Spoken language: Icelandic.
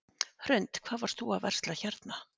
Hrund: Hvað varst þú að versla hérna?